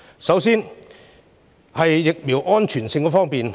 首先是疫苗安全性方面。